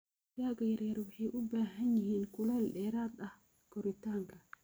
Digaaga yaryar waxay u baahan yihiin kulayl dheeraad ah koritaanka.